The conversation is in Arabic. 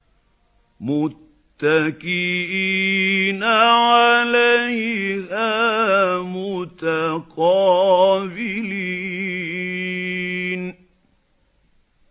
مُّتَّكِئِينَ عَلَيْهَا مُتَقَابِلِينَ